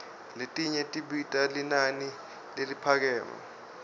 letinye tibita linani leliphakeme